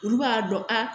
Olu b'a dɔn a